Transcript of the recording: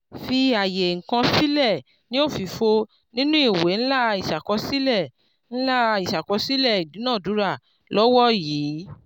fi àyè ǹkan sílẹ̀ ní òfìfo nínú ìwé ńlá ìṣàkọsílẹ̀ ńlá ìṣàkọsílẹ̀ ìdúnadúrà lọ́wọ́ yìí.